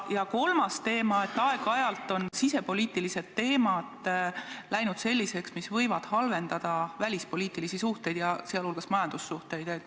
Ja kolmas teema: aeg-ajalt on sisepoliitilised teemad läinud selliseks, et see võib halvendada välispoliitilisi suhteid, sh majandussuhteid.